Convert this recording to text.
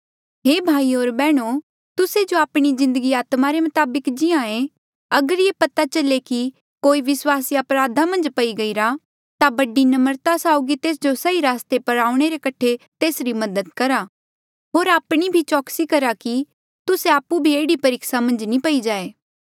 हे भाईयो होर बैहणो तुस्से जो आपणी जिन्दगी आत्मा रे मताबक जीये अगर ये पता चले कि कोई विस्वासी अपराध मन्झ पखड़ी गईरा ता बड़ी नम्रता साउगी तेस जो सही रस्ते पर आऊणें रे कठे तेसरी मदद करहा होर आपणी भी चौकसी करा कि तुस्से आपु भी एह्ड़ी परीक्सा मन्झ नी पई जाए